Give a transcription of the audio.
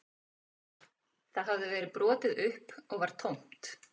Það hafði verið brotið upp og var tómt